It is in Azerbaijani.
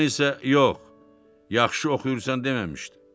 Qadın isə yox, yaxşı oxuyursan deməmişdi.